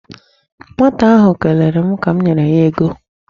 Nwata ahụ kelere m ka m nyere ego.